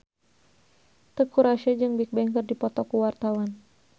Teuku Rassya jeung Bigbang keur dipoto ku wartawan